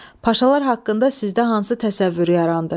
Paşalar haqqında sizdə hansı təsəvvür yarandı?